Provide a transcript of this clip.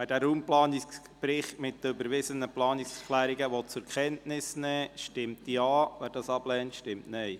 Wer diesen Raumplanungsbericht mit den überwiesenen Planungserklärungen zur Kenntnis nehmen will, stimmt Ja, wer dies ablehnt, stimmt Nein.